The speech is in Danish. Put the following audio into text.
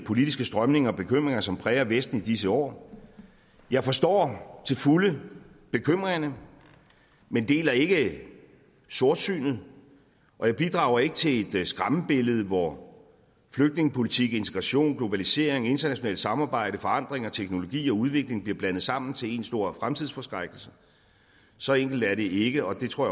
politiske strømninger og bekymringer som præger vesten i disse år jeg forstår til fulde bekymringerne men deler ikke sortsynet og jeg bidrager ikke til et skræmmebillede hvor flygtningepolitik integration globalisering internationalt samarbejde forandringer teknologi og udvikling bliver blandet sammen til en stor fremtidsforskrækkelse så enkelt er det ikke og det tror